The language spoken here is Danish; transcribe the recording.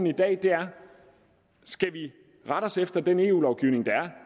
i dag er skal vi rette os efter den eu lovgivning der er